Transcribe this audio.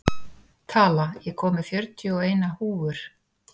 Tala, ég kom með fjörutíu og eina húfur!